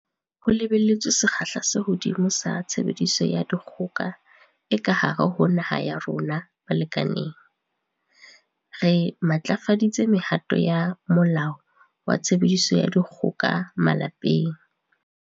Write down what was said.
Ho lebelletswe sekgahla se hodimo sa tshebediso ya dikgoka e ka hare ho naha ya rona balekaneng, re matlafaditse mehato ya Molao wa Tshebediso ya Dikgoka Malapeng.